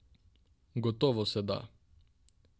Gotovo se da.